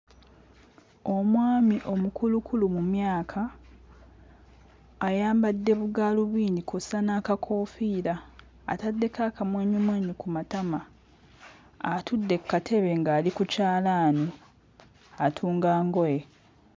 Omwami omukulukulu mu myaka ayambadde bugaalubindi kw'ossa n'akakoofiira, ataddeko akamwenyumwenyu ku matama atudde kkatebe ng'ali ku kyalaani atunga ngoye.